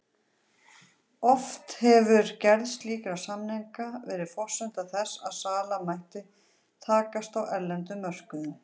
Oft hefur gerð slíkra samninga verið forsenda þess að sala mætti takast á erlendum mörkuðum.